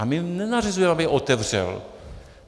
A my nenařizujeme, aby otevřel.